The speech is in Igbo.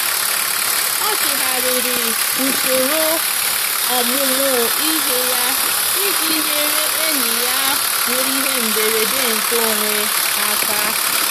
ọ chịgharịrị usoro ọmụmụ ihe ya iji nyere enyi ya nwere ihe mberede nke onwe aka.